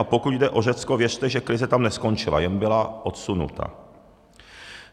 A pokud jde o Řecko, věřte, že krize tam neskončila, jen byla odsunuta.